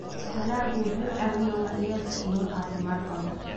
Dalaggu wuxuu caawiyaa waayeelka inuu caafimaad qabo.